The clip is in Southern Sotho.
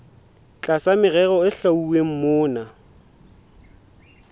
tlasa merero e hlwauweng mona